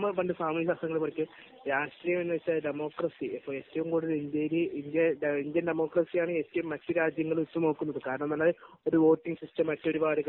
നമ്മൾ പണ്ട് സാമൂഹ്യ ശാസ്ത്രങ്ങളിൽ പഠിച്ചത് രാഷ്ട്രീയം എന്നാൽ ഡെമോക്രസി ഇന്ത്യൻ ഇന്ത്യൻ ഡെമോക്രസി ആണ് മറ്റു രാജ്യങ്ങൾ ഉറ്റുനോക്കുന്നത്